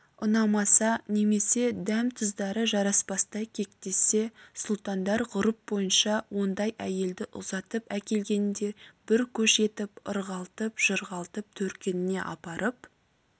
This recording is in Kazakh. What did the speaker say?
ұнамаса немесе дәм-тұздары жараспастай кектессе сұлтандар ғұрып бойынша ондай әйелді ұзатып әкелгеніндей бір көш етіп ырғалтып-жырғалтып төркініне апарып